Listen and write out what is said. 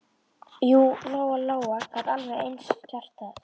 Jú, Lóa Lóa gat alveg eins gert það.